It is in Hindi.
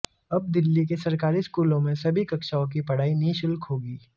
अब दिल्ली के सरकारी स्कूलों में सभी कक्षाओं की पढ़ाई निशुल्क होगी